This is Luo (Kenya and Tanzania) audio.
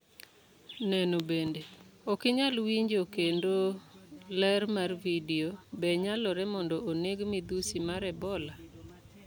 Neno bende: Ok inyal winjo kendo ler mar Video, Be nyalore mondo oneg midhusi mar Ebola?